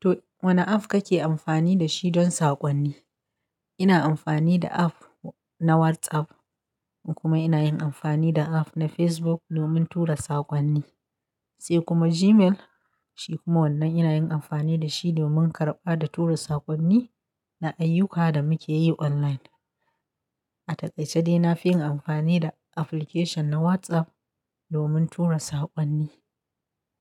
To wanne app kake amfani da shi don saƙonni? Ina amfani da app na WhatsApp, kuma ina yin amfani da app na Facebook, domin tura saƙonni, sai kuma Gmail. Shi kuma wannan ina yin amfani da shi domin karɓa da tura saƙonni, na ayyuka da muke yi online. A taƙaice dai, na fi yin amfani da application na WhatsApp, domin tura saƙonni.